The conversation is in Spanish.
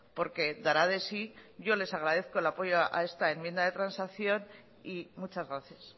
porque dará de sí yo les agradezco el apoyo a esta enmienda de transacción y muchas gracias